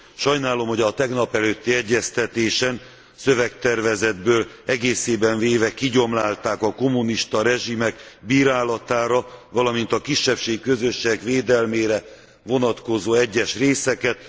Sajnálom, hogy a tegnapelőtti egyeztetésen a szövegtervezetből egészében véve kigyomlálták a kommunista rezsimek bírálatára, valamint a kisebbségi közösségek védelmére vonatkozó egyes részeket.